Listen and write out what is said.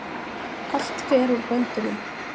Allt fer úr böndunum